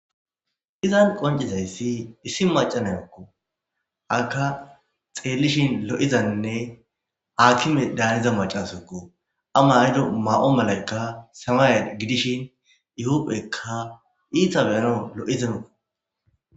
Izan qoncizayssi issi macanayokko aka xeellishin lo7izanne aakime daaniza macasokko ama hido maa7o malaykka samaye gidishin yuhuphekka iitabeyano lo'izemeo.